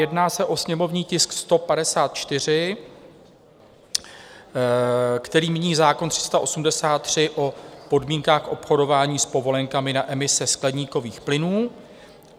Jedná se o sněmovní tisk 154, který mění zákon 383 o podmínkách obchodování s povolenkami na emise skleníkových plynů.